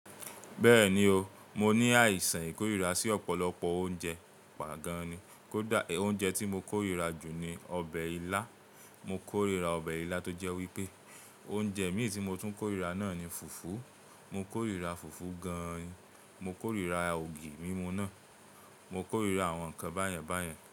Bẹ́ẹ̀ni o, mo ní àìsàn ìkórìíra sí ọ̀pọ̀lọpọ̀ oúnjẹ, pàgán ni. Koda oúnjẹ tí mo korira jù ni ọbẹ̀ ilá, mo korira ọbẹ̀ ilá tó jẹ́ wípé oúnjẹ mí ì tí mo tún ń korira náà ni fùfú, mo korira fùfú gan-an, mo korira ògì mímú náà, mo korira àwọn nǹkan báyẹn báyẹn.